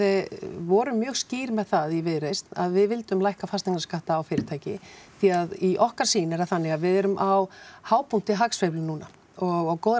vorum mjög skýr með það í Viðreisn að við vildum lækka fasteignaskatta á fyrirtæki því að í okkar sýn er það þannig að við erum á hápunkti hagsveiflu núna og góðrar